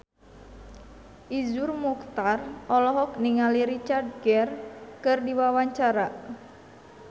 Iszur Muchtar olohok ningali Richard Gere keur diwawancara